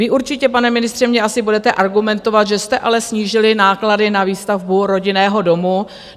Vy určitě, pane ministře, mě asi budete argumentovat, že jste ale snížili náklady na výstavbu rodinného domu.